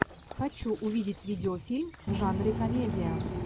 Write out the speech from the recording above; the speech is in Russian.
хочу увидеть видеофильм в жанре комедия